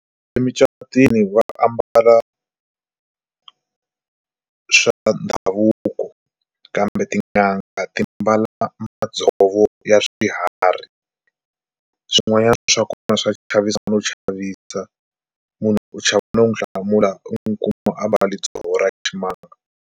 Emucatwini va ambala swa ndhavuko kambe tin'anga ti mbala madzovo ya swiharhi swin'wanyana swa kona swa chavisa no chavisa munhu u chava no n'wi hlamula u n'wi kuma a mbale dzovo ra ximanga.